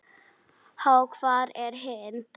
Ha, hvar er hinn?